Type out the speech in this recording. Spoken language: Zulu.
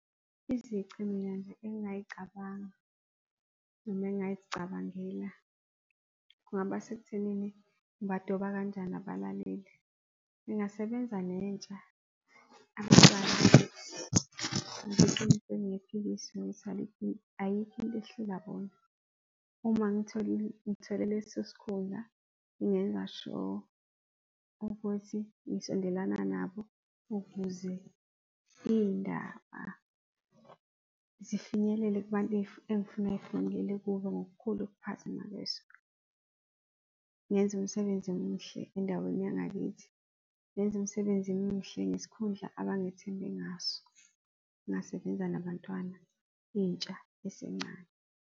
Izici mina nje engingazicabanga noma engazicabangela, kungaba sekuthenini ngibadoba kanjani abalaleli. Ngingasebenza nentsha, ngoba eqinisweni kungephikiswe ukuthi ayikho into ehlula bona. Uma ngithole leso sikhundla, ngingenza sure ukuthi ngisondelana nabo ukuze izindaba zifinyelele kubantu engifuna zifinyelele kubo ngokukhulu ukuphazima kweso. Ngenze umsebenzi omuhle endaweni yangakithi, ngenze umsebenzi omuhle ngesikhundla abangithembe ngaso. Ngingasebenza nabantwana, intsha esencane.